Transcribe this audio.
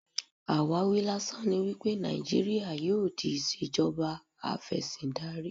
Àwáwí lásán ni wípé Nàìjíríà yóò di ìṣèjọba afẹ́síndarí.